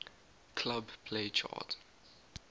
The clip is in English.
club play chart